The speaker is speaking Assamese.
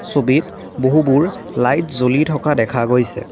ছবিত বহুবোৰ লাইট জ্বলি থকা দেখা গৈছে।